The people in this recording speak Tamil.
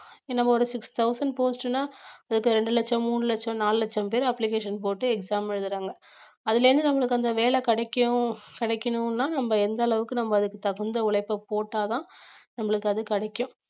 நம்ம ஒரு six thousand post ன்னா இப்ப ரெண்டு லட்சம் மூணு லட்சம் நாலு லட்சம் பேர் application போட்டு exam எழுதறாங்க அதுல இருந்து நம்மளுக்கு அந்த வேலை கிடைக்கும் கிடைக்கணும்னா நம்ம எந்த அளவுக்கு நம்ம அதுக்கு தகுந்த உழைப்பை போட்டாதான் நம்மளுக்கு அது கிடைக்கும்